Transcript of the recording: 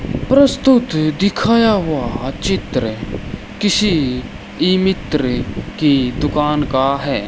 प्रस्तुत दिखाया हुआ चित्र किसी ई मित्र की दुकान का है।